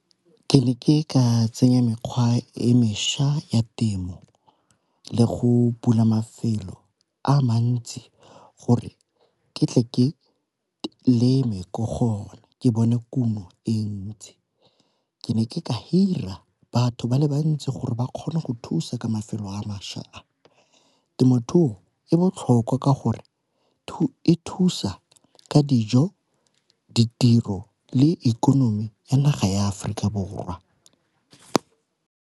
Ke ne ke ka tsenya mekgwa e mešwa ya temo le go bula mafelo a mantsi gore ke tle ke leme ko gone ke bone kumo e ntsi. Ke ne ke ka hirela batho ba le bantsi gore ba kgone go thusa ka mafelo a. Temothuo e botlhoko ka gore e thusa ka dijo, ditiro, le ikonomi ya naga ya Aforika Borwa.